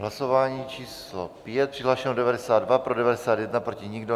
Hlasování číslo 5, přihlášeno 92, pro 91, proti nikdo.